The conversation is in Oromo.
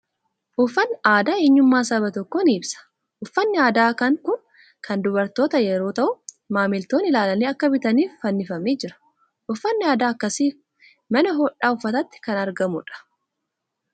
Uffatni aadaa eenyummaa saba tokkoo ni ibsa. Uffatni aadaa kan kun kan dubartootaa yeroo ta'u, maamiltoonni ilaalanii akka bitaniif fannifamee jira. Uffatni aadaa akkasii mana hodhaa uffataatti kan argamu dha.